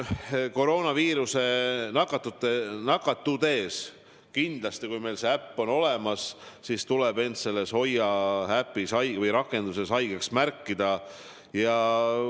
Koroonaviirusse nakatudes kindlasti, kui meil on see äpp olemas, tuleb end selles Hoia rakenduses haigeks märkida.